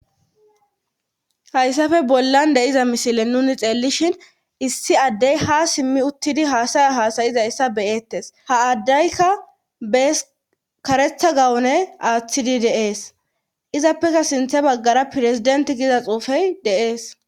hayssafe bollan de7iza misile nuni xeellishin issi addey ha simmi uttidi haasaya hasayizayssa beyettes ha aaddaykka bes karetha gawune aaththidi deees izappeka sinthe baggara pirezidenti giza xuufey de'ees